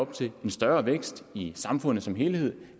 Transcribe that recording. til en større vækst i samfundet som helhed